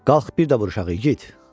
Qalx, bir də vuruşaq, igid!